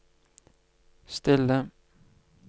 stille